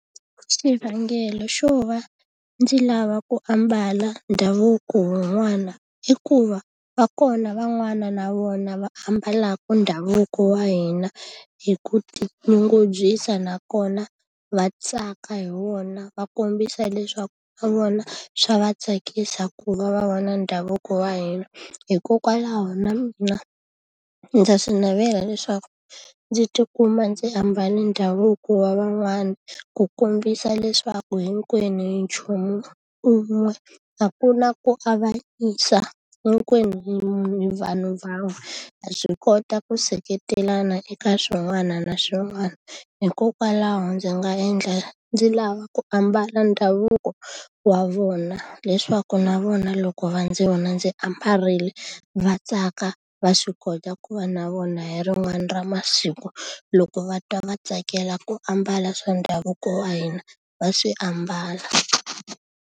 Xivangelo xo va ndzi lava ku ambala ndhavuko wun'wana i ku va va kona van'wana na vona va ambalaka ndhavuko wa hina hi ku tinyungubyisa, nakona va tsaka hi wona va kombisa leswaku na vona swa va tsakisa ku va va va na ndhavuko wa hina. Hikokwalaho na mina ndza swi navela leswaku ndzi tikuma ndzi ambale ndhavuko wa van'wana, ku kombisa leswaku hinkwenu hi nchumu un'we. A ku na ku avanyisa, hinkwenu hi munhu hi vanhu van'we, ha swi kota ku seketelana eka swin'wana na swin'wana. Hikokwalaho ndzi nga endla ndzi lava ku ambala ndhavuko wa vona leswaku na vona loko va ndzi vona ndzi ambarile, va tsaka va swi kota ku va na vona hi rin'wana ra masiku loko va twa va tsakela ku ambala swa ndhavuko wa hina, va swi ambala.